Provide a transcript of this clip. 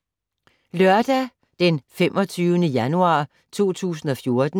Lørdag d. 25. januar 2014